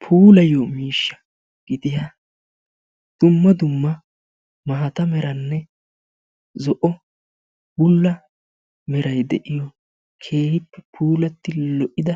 Puulayiyo miishsha gidiya dumma dumma maata meranne zo'o bulla meray de'iyo keehi puullati lo'ida